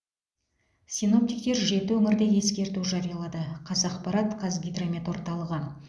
синоптиктер жеті өңірде ескерту жариялады қазақпарат қазгидромет орталығы